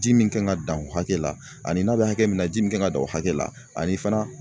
Ji min kan ka dan o hakɛ la ani n'a bɛ hakɛ min na ji min kan ka dan o hakɛ la ani fana